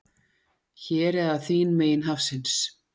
Hér eða þín megin hafsins.